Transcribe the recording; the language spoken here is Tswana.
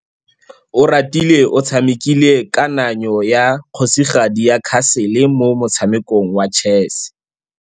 Oratile o tshamekile kananyô ya kgosigadi le khasêlê mo motshamekong wa chess.